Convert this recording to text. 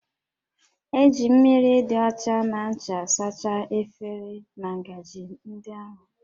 E ji mmiri dị ọcha na ncha sachaa efere na ngaji ndị ahụ